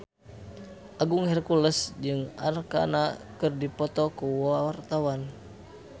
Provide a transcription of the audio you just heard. Agung Hercules jeung Arkarna keur dipoto ku wartawan